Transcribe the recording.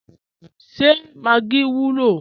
Ṣé Maggi wùlọ?